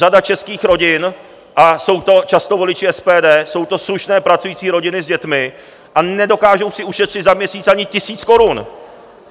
Řada českých rodin, a jsou to často voliči SPD, jsou to slušné pracující rodiny s dětmi a nedokážou si ušetřit za měsíc ani tisíc korun!